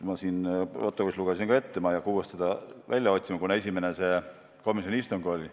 Ma lugesin teile selle protokollist ette, ma ei hakka seda uuesti välja otsima, kunas esimene komisjoni istung oli.